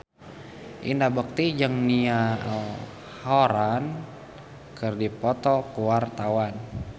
Indra Bekti jeung Niall Horran keur dipoto ku wartawan